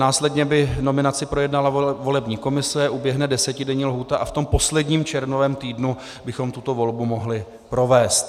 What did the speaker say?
Následně by nominaci projednala volební komise, uběhne desetidenní lhůta a v tom posledním červnovém týdnu bychom tuto volbu mohli provést.